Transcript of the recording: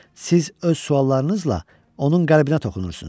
Siz öz suallarınızla onun qəlbinə toxunursunuz.